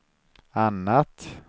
annat